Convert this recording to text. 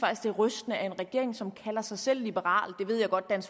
det er rystende at en regering som kalder sig selv liberal det ved jeg godt at